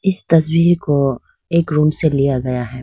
इस तस्वीर को एक रूम से लिया गया है।